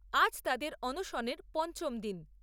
আজ তাদের অনশনের পঞ্চম দিন।